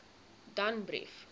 danbrief